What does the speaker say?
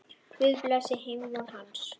Guð blessi heimvon hans.